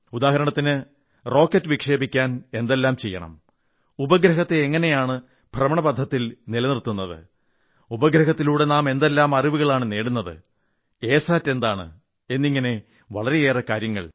ഉദാഹരണത്തിന് റോക്കറ്റ് വിക്ഷേപിക്കാൻ എന്തെല്ലാം ചെയ്യണം ഉപഗ്രഹത്തെ എങ്ങനെയാണ് ഭ്രമണപഥത്തിൽ നിലനിർത്തുന്നത്് ഉപഗ്രഹത്തിലൂടെ നാം എന്തെല്ലാം അറിവുകളാണ് നേടുന്നത് എ സാറ്റ് എന്താണ് എന്നിങ്ങനെ വളരെയേറെ കാര്യങ്ങൾ